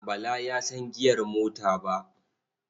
Bala ya san giyar mota ba.